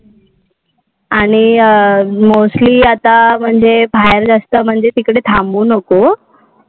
आणि mostly आता म्हणजे बाहेर जास्त म्हणजे तिकडे थांबू नको.